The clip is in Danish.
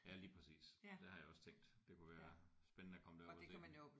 Ja lige præcis. Det har jeg også tænkt det kunne være spændende at komme derud at se